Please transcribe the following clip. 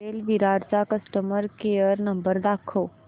Airtel Virar चा customer care number दाखव